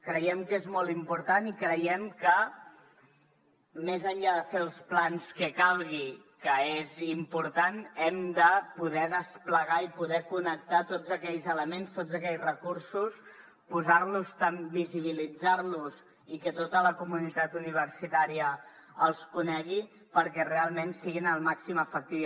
creiem que és molt important i creiem que més enllà de fer els plans que calgui que és important hem de poder desplegar i poder connectar tots aquells elements tots aquells recursos posar los visibilitzar los i que tota la comunitat universitària els conegui perquè realment siguin el màxim d’efectius